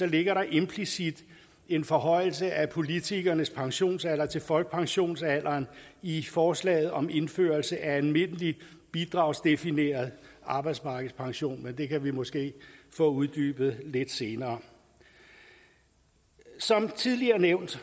ligger der implicit en forhøjelse af politikernes pensionsalder til folkepensionsalderen i forslaget om indførelse af almindelig bidragsdefineret arbejdsmarkedspension men det kan vi måske få uddybet lidt senere som tidligere nævnt